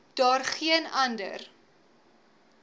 daar geen ander